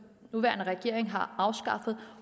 nuværende regering har afskaffet